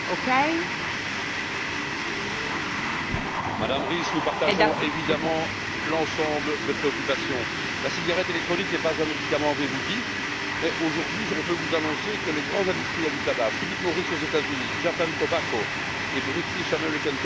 Madame la Présidente, Madame Ries, nous partageons évidemment l'ensemble des préoccupations. La cigarette électronique n'est pas un médicament, avez vous dit, mais, aujourd'hui, on peut vous annoncer que les grands industriels du tabac, Philip Morris aux États Unis, Japan Tobacco et British American Tobacco, ont déjà acheté une ou plusieurs marques